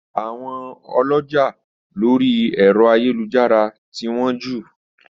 Àwọn ọlọ́jà lórí ẹ̀rọ ayélujára ti wọ́n jù